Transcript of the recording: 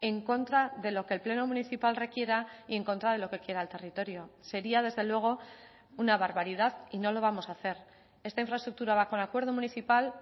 en contra de lo que el pleno municipal requiera y en contra de lo que quiera el territorio sería desde luego una barbaridad y no lo vamos a hacer esta infraestructura va con acuerdo municipal